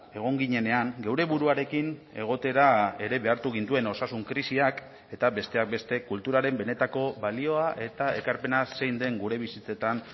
egon ginenean geure buruarekin egotera ere behartu gintuen osasun krisiak eta besteak beste kulturaren benetako balioa eta ekarpena zein den gure bizitzetan